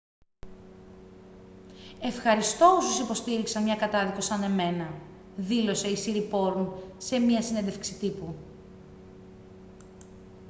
«ευχαριστώ όσους υποστήριξαν μια κατάδικο σαν εμένα» δήλωσε η σιριπόρν σε μια συνέντευξη τύπου